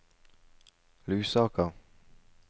Lusaka